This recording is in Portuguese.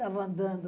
estava andando.